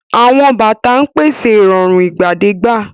Àwọn bàtà ń pèsè ìrọ̀rùn ìgbàdégbà.